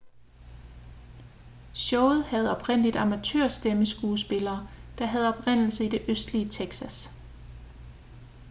showet havde oprindeligt amatør-stemmeskuespillere der havde oprindelse i det østlige texas